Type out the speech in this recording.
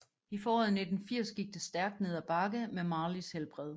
I foråret 1980 gik det stærkt ned af bakke med Marleys helbred